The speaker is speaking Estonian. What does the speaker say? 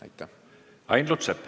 Ain Lutsepp.